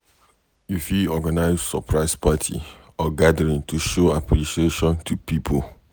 You fit organise surprise party or gathering to show appreciation to pipo